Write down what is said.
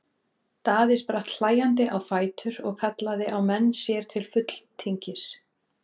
Daði spratt hlæjandi á fætur og kallaði á menn sér til fulltingis.